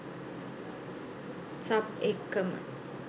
sub එක්කම